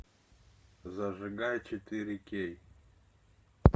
зажигай четыре кей